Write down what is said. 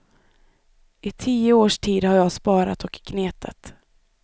I tio års tid har jag sparat och gnetat.